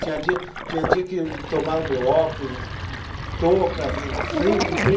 Tinha dia, tinha dia que tomaram meu óculos, touca, frio um dia.